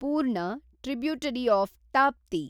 ಪೂರ್ಣ, tributary of Tapti